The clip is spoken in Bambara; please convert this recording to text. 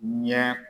Ɲɛ